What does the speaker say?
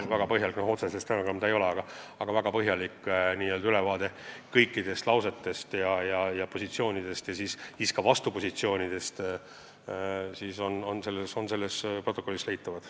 No otseselt stenogramm see ei ole, aga väga põhjalik ülevaade kõikidest kõlanud lausetest ja võetud positsioonidest, sh vastupositsioonidest on protokollis olemas.